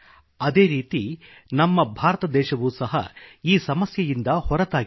ಅದೇ ರೀತಿ ನಮ್ಮ ಭಾರತದೇಶವೂ ಸಹ ಈ ಸಮಸ್ಯೆಯಿಂದ ಹೊರತಾಗಿಲ್ಲ